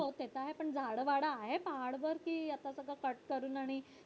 हो ते तर आहे झाड वाड ते तर आहे पहाड वरती आता सगळं cut करून आणि